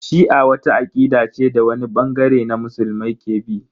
Shi'a wata akida ce da wani bangare na musulmai ke bi.